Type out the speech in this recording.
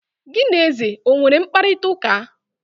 gi na eze o nwere mkparịta ụka?